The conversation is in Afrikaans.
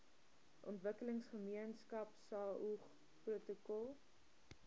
ontwikkelingsgemeenskap saog protokol